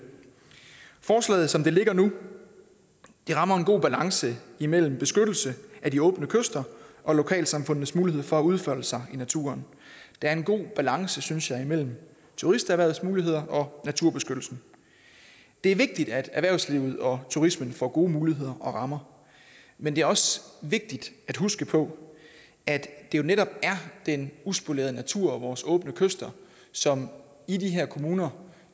forslaget som det ligger nu rammer en god balance mellem beskyttelse af de åbne kyster og lokalsamfundenes mulighed for at udfolde sig i naturen der er en god balance synes jeg mellem turisterhvervets muligheder og naturbeskyttelsen det er vigtigt at erhvervslivet og turismen får gode muligheder og rammer men det er også vigtigt at huske på at det jo netop er den uspolerede natur og vores åbne kyster som i de her kommuner